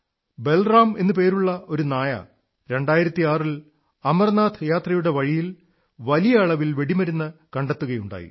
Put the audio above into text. ബലറാം എന്നു പേരുള്ള ഒരു നായ 2006 ൽ അമർനാഥ് യാത്രയുടെ വഴിയിൽ ഭാരിച്ച അളവിൽ വെടിമരുന്ന് കണ്ടെത്തുകയുണ്ടായി